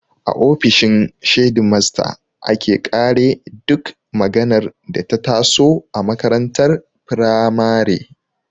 A ofishin shedimasta ake ƙare duk maganar da ta taso a makarantar firamare